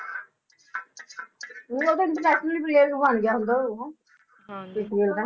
ਊਂ ਓਧਰ international player ਵੀ ਬਣ ਗਿਆ ਹੁਣ ਤਾਂ ਓਹੋ ਕ੍ਰਿਸ ਗੇਲ ਤਾਂ